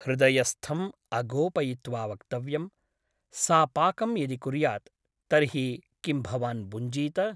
हृदयस्थम् अगोपयित्वा वक्तव्यम् । सा पाकं यदि कुर्यात् तर्हि किं भवान् भुञ्जीत ?